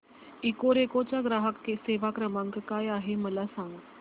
Ecoreco चा ग्राहक सेवा क्रमांक काय आहे मला सांग